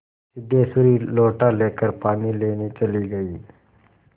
सिद्धेश्वरी लोटा लेकर पानी लेने चली गई